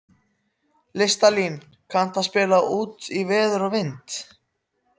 Listalín, kanntu að spila lagið „Út í veður og vind“?